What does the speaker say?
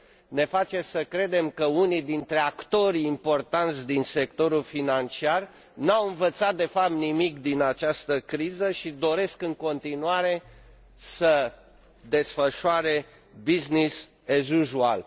ne face să credem că unii dintre actorii importanți din sectorul financiar n au învățat de fapt nimic din această criză și doresc în continuare să desfășoare business as usual.